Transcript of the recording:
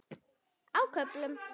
Á köflum.